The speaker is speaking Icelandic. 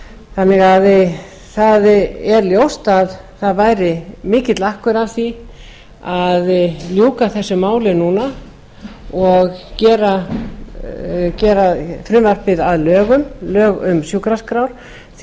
þannig að það er ljóst að það væri mikill akkur að því að ljúka þessu máli núna og gera frumvarpið að lögum lög um sjúkraskrár því